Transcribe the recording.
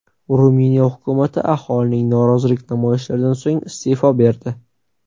Ruminiya hukumati aholining norozilik namoyishlaridan so‘ng iste’fo berdi.